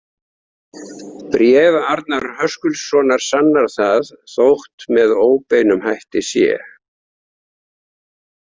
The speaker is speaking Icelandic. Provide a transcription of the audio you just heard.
Bréf Arnar Höskuldssonar sannar það, þótt með óbeinum hætti sé.